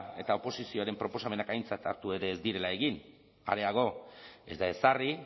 eta oposizioaren proposamenak aintzat hartu ere ez direla egin areago ez da ezarri